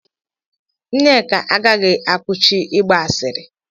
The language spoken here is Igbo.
Nneka agaghị akwụsị ịgba asịrị.